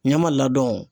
Ɲɛma ladɔnw